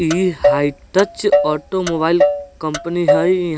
ई high touch automobile company हई इह --